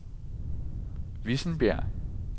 Vissenbjerg